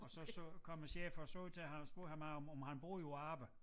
Og så så kom æ chefer og så til ham spurgte ham af om han bruger dem på arbejde